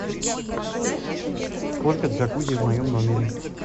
сколько джакузи в моем номере